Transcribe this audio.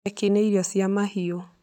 Nyeki nĩ irio cia mahiũ